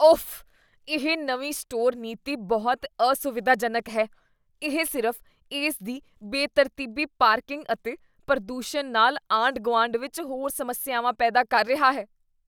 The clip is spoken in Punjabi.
ਓਫ਼ ! ਇਹ ਨਵੀਂ ਸਟੋਰ ਨੀਤੀ ਬਹੁਤ ਅਸੁਵਿਧਾਜਨਕ ਹੈ ਇਹ ਸਿਰਫ਼ ਇਸ ਦੀ ਬੇਤਰਤੀਬੀ ਪਾਰਕਿੰਗ ਅਤੇ ਪ੍ਰਦੂਸ਼ਣ ਨਾਲ ਆਂਢ ਗੁਆਂਢ ਵਿੱਚ ਹੋਰ ਸਮੱਸਿਆਵਾਂ ਪੈਦਾ ਕਰ ਰਿਹਾ ਹੈ